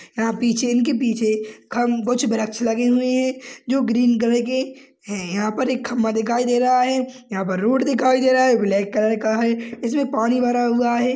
यहाँ पीछे इनके पीछे खंब कुछ वृक्ष लगे हुए हैं जो ग्रीन कलर के हैं यहाँ पर एक खंभा दिखाई दे रहा है यहाँ पर रोड दिखाई दे रहा है जो ब्लैक कलर का है इसमें पानी भरा हुआ है।